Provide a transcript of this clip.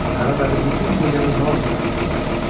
Qarabəbir bütün gecəni Maqlini axtarmışdı.